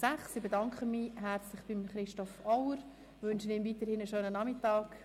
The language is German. Ich bedanke mich bei Christoph Auer und wünsche ihm weiterhin einen schönen Nachmittag.